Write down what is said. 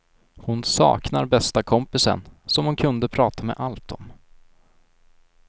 Hon saknar bästa kompisen, som hon kunde prata med allt om.